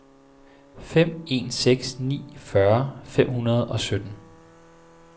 fem en seks ni fyrre fem hundrede og sytten